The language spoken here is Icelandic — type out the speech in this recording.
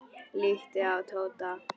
Líttu á Tóta.